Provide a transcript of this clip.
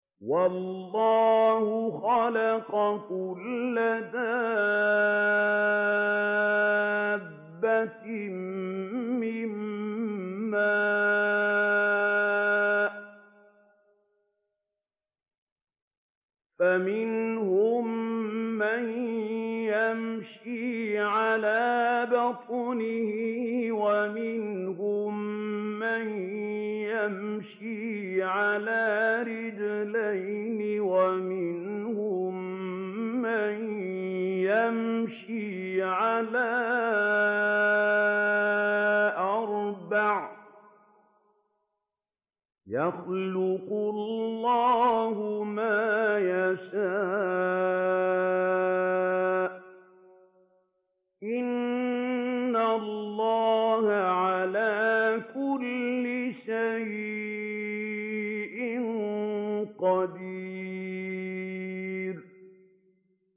وَاللَّهُ خَلَقَ كُلَّ دَابَّةٍ مِّن مَّاءٍ ۖ فَمِنْهُم مَّن يَمْشِي عَلَىٰ بَطْنِهِ وَمِنْهُم مَّن يَمْشِي عَلَىٰ رِجْلَيْنِ وَمِنْهُم مَّن يَمْشِي عَلَىٰ أَرْبَعٍ ۚ يَخْلُقُ اللَّهُ مَا يَشَاءُ ۚ إِنَّ اللَّهَ عَلَىٰ كُلِّ شَيْءٍ قَدِيرٌ